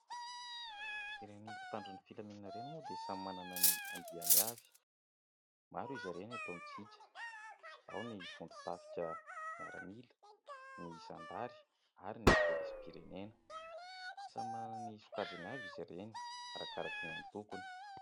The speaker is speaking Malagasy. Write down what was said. Ireny mpitandro ny filaminana ireny moa dia samy manana ny andiany avy, maro izy ireny eto amitsika, ao ny vondron-tafika miaramila, ny zandary ary ny pôlisim-pirenena, samy manana ny sokajiny avy izy ireny arakaraka ny antokony.